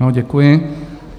Ano, děkuji.